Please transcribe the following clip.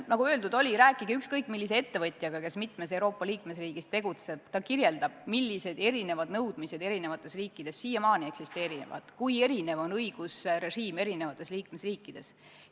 Nagu öeldud, rääkige ükskõik millise ettevõtjaga, kes tegutseb mitmes Euroopa liikmesriigis, ja ta kirjeldab, millised erinevad nõudmised eri riikides siiamaani eksisteerivad, kui erinev on õigusrežiim eri liikmesriikides.